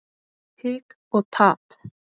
Hik og tap.